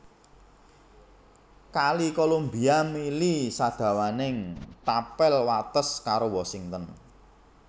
Kali Columbia mili sadawaning tapel wates karo Washington